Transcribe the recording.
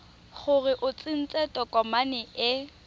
gore o tsentse tokomane e